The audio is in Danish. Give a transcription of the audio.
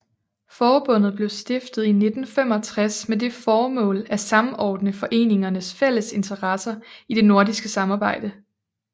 Forbundet blev stiftet i 1965 med det formål at samordne foreningernes fælles interesser i det nordiske samarbejde